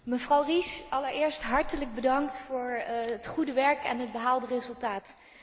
Mevrouw Ries, allereerst hartelijk bedankt voor het goede werk en het behaalde resultaat.